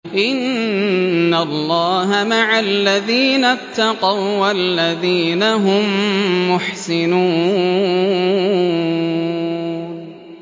إِنَّ اللَّهَ مَعَ الَّذِينَ اتَّقَوا وَّالَّذِينَ هُم مُّحْسِنُونَ